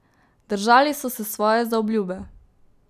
Držali so se svoje zaobljube.